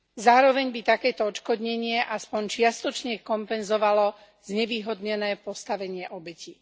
Zároveň by takéto odškodnenie aspoň čiastočne kompenzovalo znevýhodnené postavenie obeti.